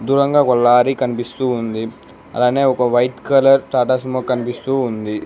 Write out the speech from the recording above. దూరంగా ఒక లారీ కనిపిస్తూ ఉంది అలానే ఒక వైట్ కలర్ టాటా సిమో కనిపిస్తూ ఉంది.